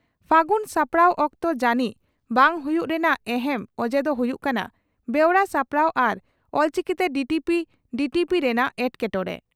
ᱯᱷᱟᱹᱜᱩᱱ ᱥᱟᱯᱲᱟᱣ ᱚᱠᱛᱚ ᱡᱟᱹᱱᱤᱡ ᱵᱟᱝ ᱦᱩᱭᱩᱜ ᱨᱮᱱᱟᱜ ᱮᱦᱮᱢ ᱚᱡᱮ ᱫᱚ ᱦᱩᱭᱩᱜ ᱠᱟᱱᱟ ᱵᱮᱣᱨᱟ ᱥᱟᱯᱲᱟᱣ ᱟᱨ ᱚᱞᱪᱤᱠᱤᱛᱮ ᱰᱤᱴᱤᱯᱤ ᱰᱤᱴᱤᱯᱤ ᱨᱮᱱᱟᱜ ᱮᱴᱠᱮᱴᱚᱬᱮ ᱾